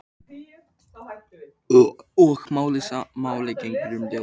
Og sama máli gegnir um ljóðin.